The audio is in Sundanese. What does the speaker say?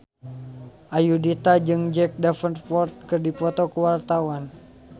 Ayudhita jeung Jack Davenport keur dipoto ku wartawan